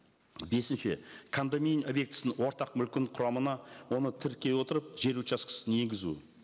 бесінші кондомин объектісінің ортақ мүлкін құрамына оны тіркей отырып жер учаскесін енгізу